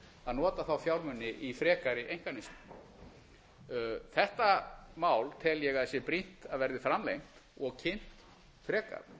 að nota þá fjármuni í frekari einkaneyslu þetta mál tel ég að sé brýnt að verði framlengt og kynnt frekar